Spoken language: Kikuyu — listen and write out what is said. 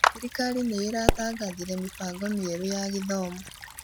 Thirikari nĩ ĩratangathire mĩbango mĩerũ ya gĩthomo.